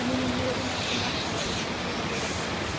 O menininho ele nasce emborcado, ele nasce de barriga para baixo.